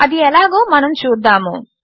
అది ఎలాగో మనము చూద్దాము